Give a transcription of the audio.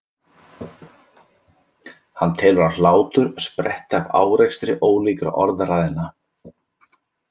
Hann telur að hlátur spretti af árekstri ólíkra orðræðna.